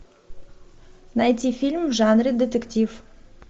найти фильм в жанре детектив